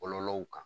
Kɔlɔlɔw kan